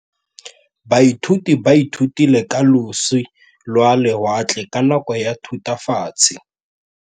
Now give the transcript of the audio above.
Baithuti ba ithutile ka losi lwa lewatle ka nako ya Thutafatshe.